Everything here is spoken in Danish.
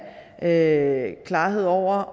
have klarhed over